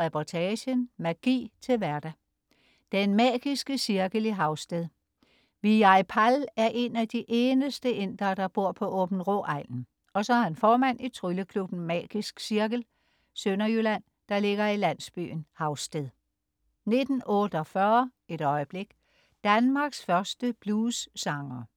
Reportagen: Magi til hverdag. Den magiske cirkel i Havsted. Vijay Pal er en af de eneste indere, der bor på Aabenraa-egnen. Og så er han formand i trylleklubben Magisk Cirkel, Sønderjylland, der ligger i landsbyen Havsted 19.48 Et øjeblik. Danmarks første bluessangere